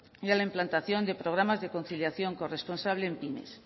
y a la implantación de programas de conciliación corresponsable en pymes